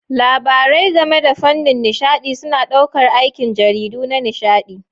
Labarai game da fannin nishaɗi suna ɗaukar aikin jarida na nishaɗi.